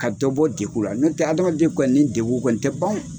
Ka dɔ bɔ degun ra n'o tɛ hadamaden kɔni ni degun kɔni tɛ ban o.